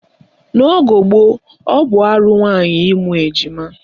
N'ogo gboo, ọ bụ arụ nwaanyị ịmụ ejima